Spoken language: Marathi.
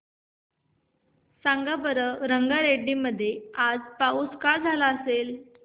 सांगा बरं रंगारेड्डी मध्ये आज पाऊस का झाला असेल